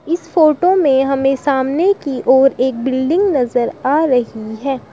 इस फोटो में हमें सामने की ओर एक बिल्डिंग नजर आ रही है।